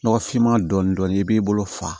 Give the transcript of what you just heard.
Nɔgɔfinman dɔɔni dɔɔni i b'i bolo fa